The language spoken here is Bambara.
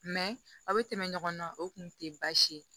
aw bɛ tɛmɛ ɲɔgɔn na o kun tɛ baasi ye